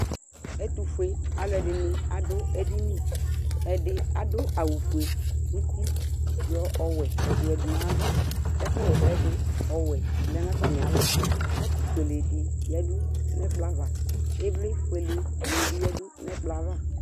Ɛtʋfue alʋ ɛdɩnɩ adʋ edɩnɩ Ɛdɩ adʋ aɣʋ ofue nʋ uti yɔ ɔwɛ yɔ dʋ yadʋ nʋ ayʋ ava Ɛkʋ ɣa ɛsɛ dʋ ɔwɛ lɛ nʋ atamɩ alɔ Kɔpʋ ofuele dɩ yadʋ nʋ ɛkplɔ ava Ɩvlɩ ofuele nɩ bɩ yadʋ nʋ ɛkplɔ yɛ ava